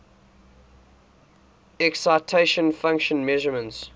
excitation function measurements